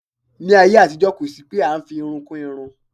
Ní ayé àtijó kó sì pé a ń fi irun kún irun.